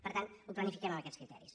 per tant ho planifiquem amb aquests criteris